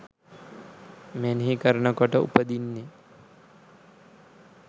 මෙනෙහි කරනකොට උපදින්නෙ.